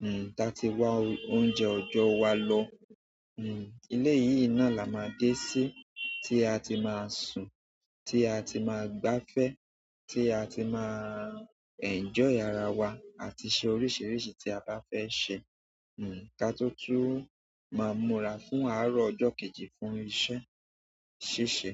Hmm, ta ti wa oúnjẹ ọjọ́ wa lọ. Hmm, ilé yìí náà la máa dé sí tí a ti máa sùn, tí a ti máa gbáfẹ́, tí a ti máa enjoy ara wa àti ṣe oríṣìíríṣìí tí a bá fẹ́ ṣe. Hmm, ká tó tún máa múra fún àárọ̀ ọjọ́ kejì fún iṣẹ́. Sisẹ́